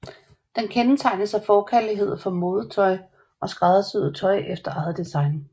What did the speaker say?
Den kendetegnes af forkærlighed for modetøj og skræddersyet tøj efter eget design